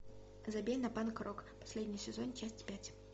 забей на панк рок последний сезон часть пять